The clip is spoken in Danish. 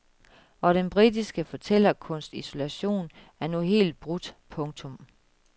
Og den britiske fortællekunsts isolation er nu helt brudt. punktum